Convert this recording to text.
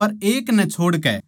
पर एक नै छोड़ के